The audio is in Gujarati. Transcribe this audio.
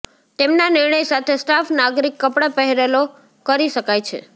તેમના નિર્ણય સાથે સ્ટાફ નાગરિક કપડાં પહેરેલો કરી શકાય છે